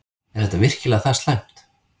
Er þetta virkilega það slæmt?